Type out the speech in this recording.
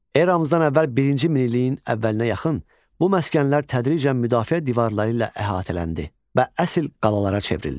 Eramızdan əvvəl birinci minilliyin əvvəlinə yaxın bu məskənlər tədricən müdafiə divarları ilə əhatələndi və əsl qalalara çevrildi.